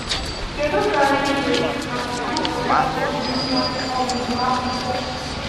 Kédú ka anyị ga-esi rụpụta obi nwa ọmụmụ akwụkwọ?